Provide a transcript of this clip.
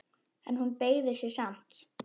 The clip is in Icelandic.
En hún beygði sig samt.